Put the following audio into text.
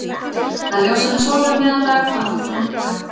Það er ljósara en sólin um miðjan dag að við þurfum hjálp.